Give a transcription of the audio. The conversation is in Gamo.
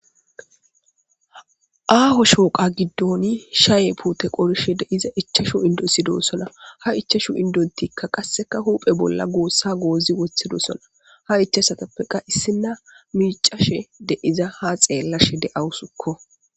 Aaho shooqa giddoni shaye pute qorshe de iza ichashu indosidossona ha ichashu indontikka qasseka huphe bolla goossa goozi wothido sona ha icessatappeka issinna miicashe de iza ha xeellashe de'awusukko.